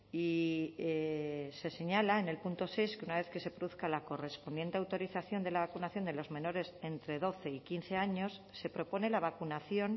y se señala en el punto seis que una vez que se produzca la correspondiente autorización de la vacunación de los menores entre doce y quince años se propone la vacunación